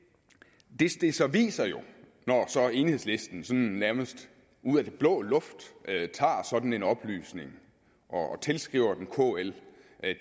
det det jo så viser når så enhedslisten sådan nærmest ud af den blå luft tager sådan en oplysning og tilskriver den kl